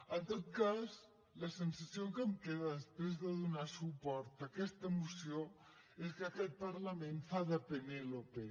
en tot cas la sensació que em queda després de donar suport a aquesta moció és que aquest parlament fa de penélope